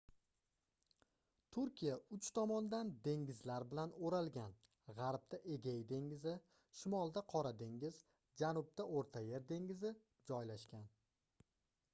turkiya uch tomondan dengizlar bilan oʻralgan gʻarbda egey dengizi shimolda qora dengiz janubda oʻrta yer dengizi joylashgan